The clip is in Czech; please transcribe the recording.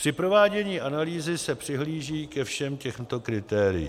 Při provádění analýzy se přihlíží ke všem těmto kritériím: